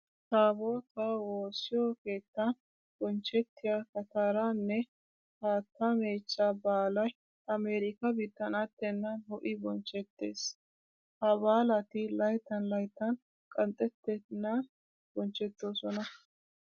Taabootaa woossiyo keettan bonchchettiya kataraa nne haattaa meechcha baalay Amerikkaa biittan attennan ho'i bonchchettees. Ha baalati laytttan laytttan qanxxettennan bonchchettoosona.